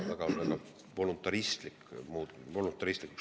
See on väga voluntaristlik, see muutub voluntaristlikuks.